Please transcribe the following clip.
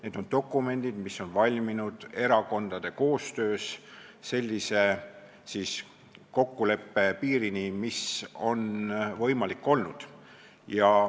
Need on dokumendid, mis on valminud erakondade koostöös kokkuleppe sellise piirini, mis on võimalik olnud.